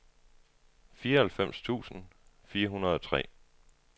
fireoghalvfems tusind fire hundrede og tre